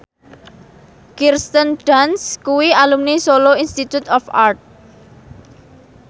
Kirsten Dunst kuwi alumni Solo Institute of Art